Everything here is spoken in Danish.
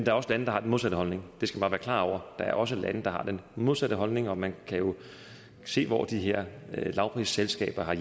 er også lande der har den modsatte holdning det skal man klar over der er også lande der har den modsatte holdning og man kan se hvor de her lavprisselskaber har